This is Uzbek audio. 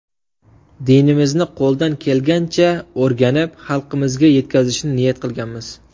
Dinimizni qo‘ldan kelgancha o‘rganib, xalqimizga yetkazishni niyat qilganmiz.